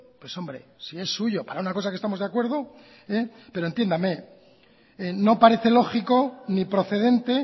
pues hombre si es suyo para una cosa que estamos de acuerdo pero entiéndame no parece lógico ni procedente